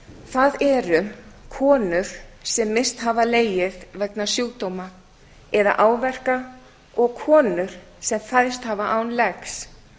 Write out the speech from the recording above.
það eru konur sem misst hafa legið vegna sjúkdóma eða áverka og konur sem fæðst hafa án legs